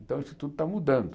Então isso tudo está mudando.